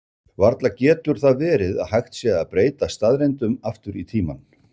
Varla getur það verið að hægt sé að breyta staðreyndum aftur í tímann?